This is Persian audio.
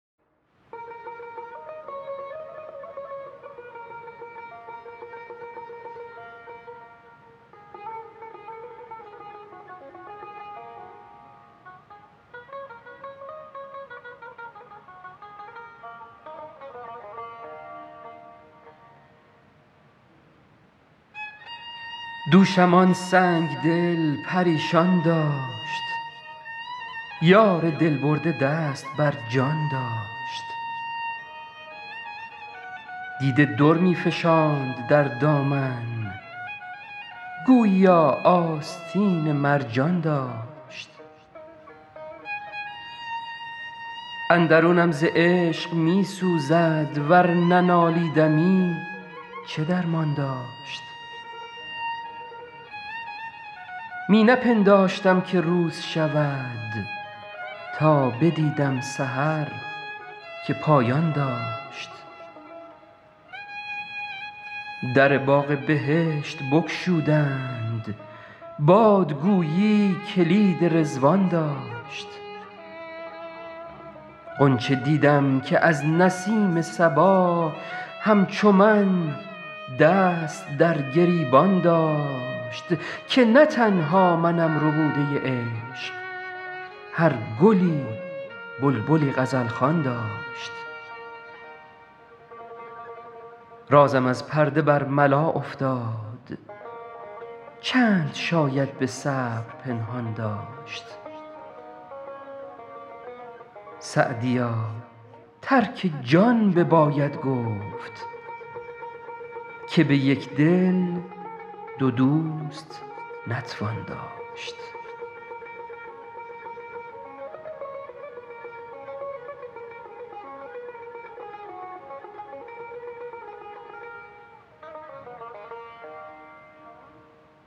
دوشم آن سنگ دل پریشان داشت یار دل برده دست بر جان داشت دیده در می فشاند در دامن گوییا آستین مرجان داشت اندرونم ز شوق می سوزد ور ننالیدمی چه درمان داشت می نپنداشتم که روز شود تا بدیدم سحر که پایان داشت در باغ بهشت بگشودند باد گویی کلید رضوان داشت غنچه دیدم که از نسیم صبا همچو من دست در گریبان داشت که نه تنها منم ربوده عشق هر گلی بلبلی غزل خوان داشت رازم از پرده برملا افتاد چند شاید به صبر پنهان داشت سعدیا ترک جان بباید گفت که به یک دل دو دوست نتوان داشت